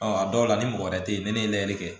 a dɔw la ni mɔgɔ wɛrɛ te yen ni ne ye lajɛli kɛ